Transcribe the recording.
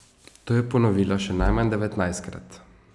To je ponovila še najmanj devetnajstkrat.